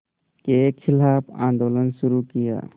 के ख़िलाफ़ आंदोलन शुरू किया